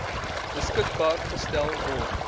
beskikbaar gestel word